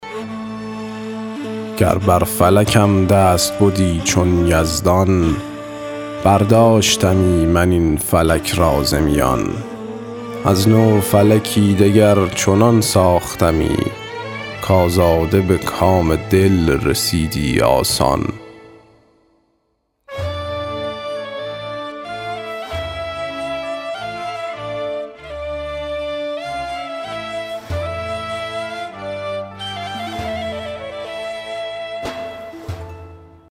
گر بر فلکم دست بدی چون یزدان برداشتمی من این فلک را ز میان از نو فلکی دگر چنان ساختمی کآزاده به کام دل رسیدی آسان